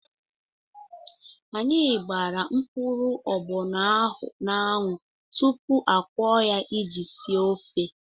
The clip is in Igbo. Anyị gbara mkpụrụ agbọnọ ahụ n'anwụ tupu akwọọ ya iji esi ofe.